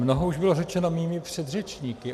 Mnoho už bylo řečeno mými předřečníky.